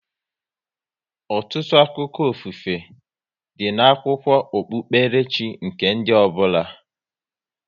Ọtụtụ akụkọ ofufe, dị n'akwụkwọ okpukpere chi nke ndị ọbụla